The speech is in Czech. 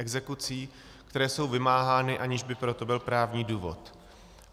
Exekucí, které jsou vymáhány, aniž by pro to byl právní důvod.